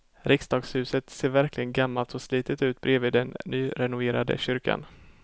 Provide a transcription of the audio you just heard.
Riksdagshuset ser verkligen gammalt och slitet ut bredvid den nyrenoverade kyrkan.